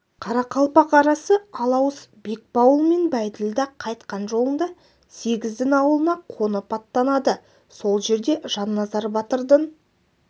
қарақалпақ арасы алауыз бекбауыл мен бәйділда қайтқан жолында сегіздің аулына қонып аттанады сол жерде жанназар батырдың